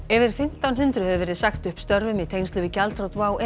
yfir fimmtán hundruð hefur verið sagt upp störfum í tengslum við gjaldþrot WOW